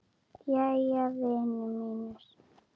Jæja, vinir mínir.